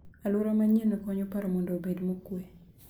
Alwora manyienno konyo paro mondo obed mokuwe.